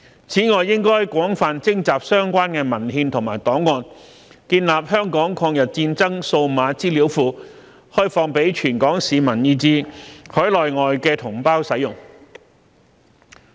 此外，應廣泛徵集相關的文獻和檔案，建立香港抗日戰爭數碼資料庫，開放給全港市民以至海內外同胞使用。